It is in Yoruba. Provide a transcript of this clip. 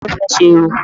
Ta ló fẹ́ ṣe irun?